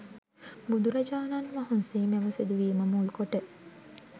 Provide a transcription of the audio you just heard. බුදුරජාණන් වහන්සේ මෙම සිදුවීම මුල්කොට